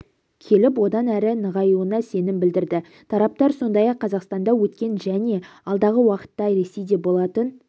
келіп одан әрі нығаюына сенім білдірді тараптар сондай-ақ қазақстанда өткен және алдағы уақытта ресейде болатын